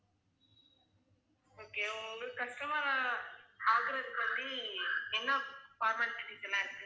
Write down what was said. okay உங்களுக்கு customer ஆ ஆகுறதுக்கு வந்து என்ன formalities எல்லாம் இருக்கு